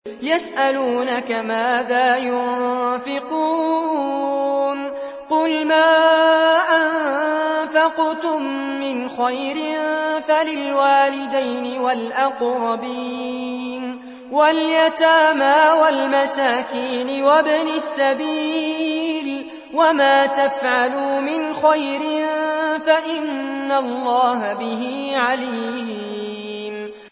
يَسْأَلُونَكَ مَاذَا يُنفِقُونَ ۖ قُلْ مَا أَنفَقْتُم مِّنْ خَيْرٍ فَلِلْوَالِدَيْنِ وَالْأَقْرَبِينَ وَالْيَتَامَىٰ وَالْمَسَاكِينِ وَابْنِ السَّبِيلِ ۗ وَمَا تَفْعَلُوا مِنْ خَيْرٍ فَإِنَّ اللَّهَ بِهِ عَلِيمٌ